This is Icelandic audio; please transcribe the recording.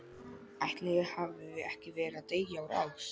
ætli ég hafi ekki verið að deyja úr ást.